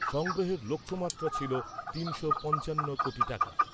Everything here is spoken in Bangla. সংগ্রহের লক্ষ্যমাত্রা ছিল তিনশো পঞ্চান্ন কোটি টাকা।